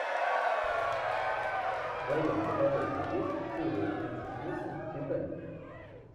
в твоем каталоге есть серия тридцать восемь титаник